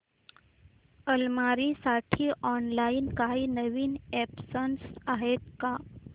अलमारी साठी ऑनलाइन काही नवीन ऑप्शन्स आहेत का